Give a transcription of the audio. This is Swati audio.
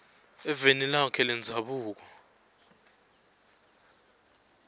eveni lakhe lendzabuko